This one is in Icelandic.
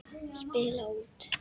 Spila út.